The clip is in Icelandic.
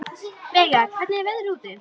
Veiga, hvernig er veðrið úti?